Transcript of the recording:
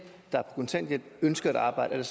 der er på kontanthjælp ønsker at arbejde